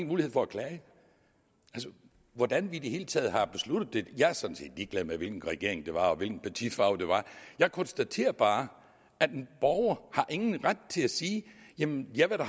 mulighed for at klage hvordan vi i det hele taget har besluttet det jeg er sådan set ligeglad med hvilken regering det var og hvilken partifarve det var jeg konstaterer bare at en borger ingen ret har til at sige jamen jeg vil da